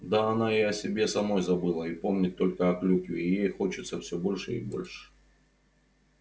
да она и о себе самой забыла и помнит только о клюкве и ей хочется всё больше и больше